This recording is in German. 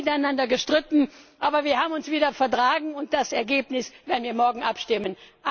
Wir haben miteinander gestritten, aber wir haben uns wieder vertragen, und über das Ergebnis werden wir morgen abstimmen.